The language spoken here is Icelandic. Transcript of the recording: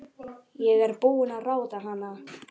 Ég er búin að ráða hana!